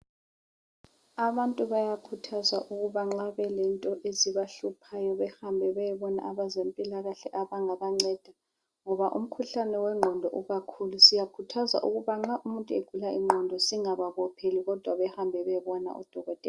Abantu bayakhuthazwa ukuba nxa belento ezibahluphayo behambe bayebona abezempilakahle abangabanceda, ngoba umkhuhlane wengqondo ikakhulu. Siyakhuthazwa ukuthi nxa umuntu egula ingqondo singababopheli, kodwa bahambe bayebona udokotela.